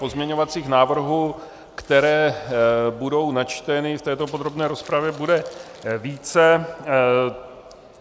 Pozměňovacích návrhů, které budou načteny v této podrobné rozpravě, bude více.